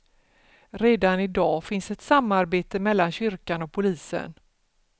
Redan idag finns ett samarbete mellan kyrkan och polisen.